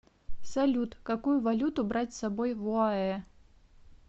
салют какую валюту брать с собой в оаэ